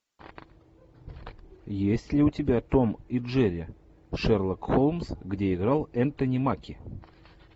есть ли у тебя том и джерри шерлок холмс где играл энтони маки